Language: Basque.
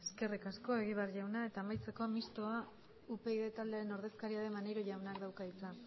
eskerrik asko egibar jauna eta amaitzeko mistoa upyd taldearen ordezkaria den maneiro jaunak dauka hitza